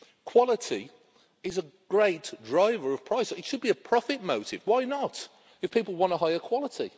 Quality is a great driver of price. It should be a profit motive. Why not, if people want a higher quality?